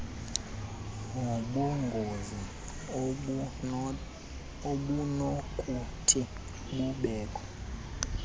nobungozi obunokuthi bubekhona